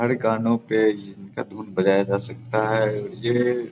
हर गानो पे धून बजाया जा सकता है ये --